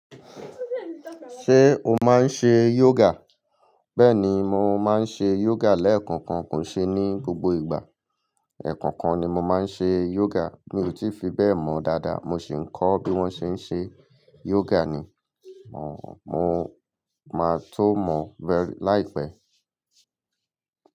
Ṣé o máa ń ṣe yoga? Bẹ́ẹ̀ni, mo máa ń ṣe yoga lẹ́ẹ̀kọ̀kan. Kò ṣe ní gbogbo ìgbà. Ẹ̀kọ̀ọ̀kan ni mo máa ń ṣe yoga. Mi ò tí fi bẹ́ẹ̀ mọ̀ dáadáa. Mo sì ń kọ́ bí wón ṣe ń ṣe yoga ni. Mo máa tó mọ̀ láìpẹ́.